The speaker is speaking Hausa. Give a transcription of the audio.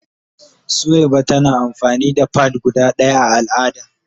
Suwaiba tana amfani da "pad" guda daya a al'ada.